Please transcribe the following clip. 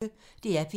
DR P1